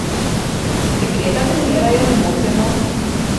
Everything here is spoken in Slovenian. Dekleta trenirajo nemoteno.